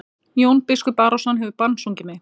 Jón biskup Arason hefur bannsungið mig.